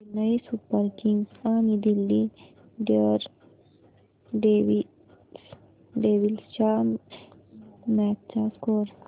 Chennai Super Kings आणि Delhi Daredevils च्या match चा स्कोअर